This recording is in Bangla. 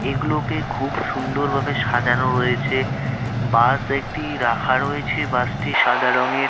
এগুলোকে খুব সুন্দরভাবে সাজানো রয়েছে বাস একটি রাখা রয়েছে বাসটি সাদা রঙের।